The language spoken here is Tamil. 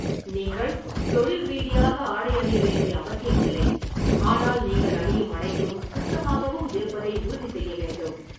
நீங்கள் தொழில் ரீதியாக ஆடை அணிய வேண்டிய அவசியமில்லை, ஆனால் நீங்கள் அணியும் அனைத்தும் சுத்தமாகவும் இருப்பதை உறுதி செய்ய வேண்டும்.